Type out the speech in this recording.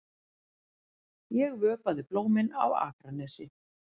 Ég vökvaði blómin á Akranesi.